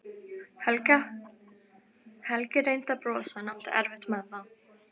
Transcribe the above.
Helgi reyndi að brosa en átti erfitt með það.